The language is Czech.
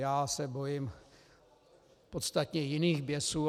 Já se bojím podstatně jiných běsů.